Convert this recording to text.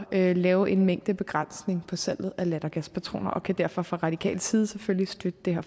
at lave en mængdebegrænsning på salget af lattergaspatroner og kan derfor fra radikal side selvfølgelig støtte det her